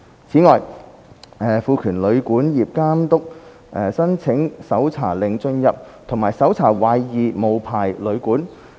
此外，監督亦獲賦權申請搜查令進入和搜查懷疑無牌旅館。